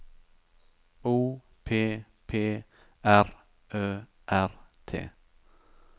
O P P R Ø R T